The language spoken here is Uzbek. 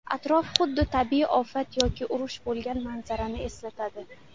Atrof xuddi tabiiy ofat yoki urush bo‘lgan manzarani eslatadi.